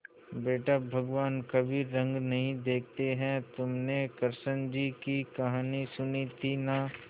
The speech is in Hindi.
बेटा भगवान कभी रंग नहीं देखते हैं तुमने कृष्ण जी की कहानी सुनी थी ना